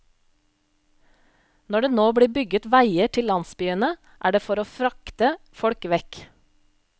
Når det nå blir bygget veier til landsbyene er det for å frakte folk vekk.